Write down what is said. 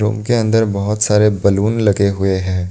उनके अंदर बहुत सारे बलून लगे हुए हैं।